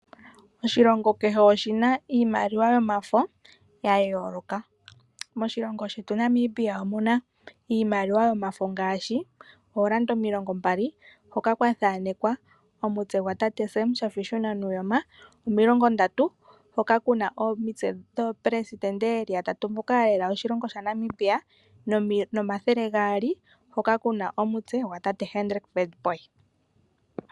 Oshilongo kehe oshina iimaliwa yomafo ya yooloka. Moshilongo shetu Namibia omuna iimaliwa yomafo ngaashi oolanda omilongombali hoka kwa thamekwa omutse gwa tate Sam Shafiishuna Nuujoma. Omilongo ndatu hoka kuna omitse dhoo pelesidente yeli ya tatu mboka ya lela oshilongo sha Namibia nomathele gaali hoka kuna omutse gwa tate Hendrick Witbooi.